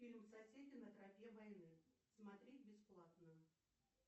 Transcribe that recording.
фильм соседи на тропе войны смотреть бесплатно